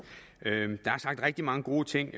rigtig mange gode ting